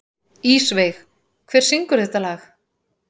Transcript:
Ísveig, hver syngur þetta lag?